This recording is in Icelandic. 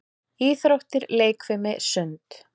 Íþróttir- leikfimi- sund